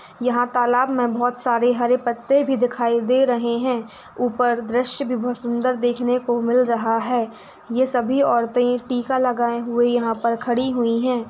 यहाँ तालाब मे बहुत सारे हरे पत्ते भी दिखाई दे रहे है ऊपर दृश्य भी बहुत सुंदर देखने को मिल रहा है ये सभी औरतें टीका लगाए हुए खड़ी हुई है।